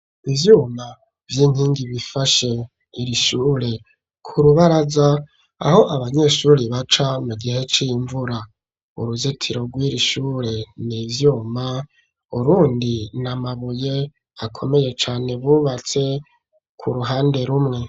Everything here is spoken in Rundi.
Ivyuma vy'inkingi, bifashe iri shure, ku rubaraza, aho abanyeshuri baca, mu gihe c'imvura; uruzitiro rw'iri shure, ni ivyuma, urundi ni amabuye, akomeye cane, bubatse, ku ruhande rumwe.